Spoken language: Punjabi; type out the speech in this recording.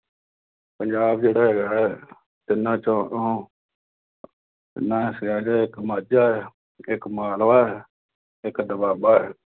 ਪੰਜਾਬ ਜਿਹੜਾ ਹੈਗਾ ਹੈ, ਤਿੰਨਾਂ, ਚੌਹਾਂ ਤੋਂ ਤਿੰਨਾਂ ਹਿੱਸਿਆਂ ਚ, ਇੱਕ ਮਾਝਾ ਹੈ, ਇੱਕ ਮਾਲਵਾ ਹੈ, ਇੱਕ ਦੁਆਬਾ ਹੈ।